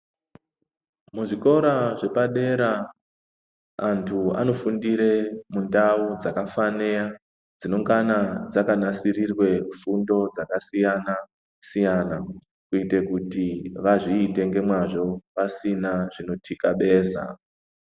Muzvikora zvepadera vantu vanofundira mundau dzakafanira dzinongana dzakanasirirwa shungu dzakasiyana siyana ngekuti vazviite nemazvo pasina zvinotikabesa.